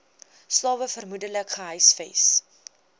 slawe vermoedelik gehuisves